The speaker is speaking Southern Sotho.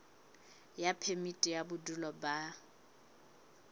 ya phemiti ya bodulo ba